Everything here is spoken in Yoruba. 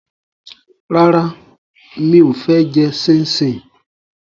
Rárá, mi ò fẹ́ jẹ ṣíńṣiǹ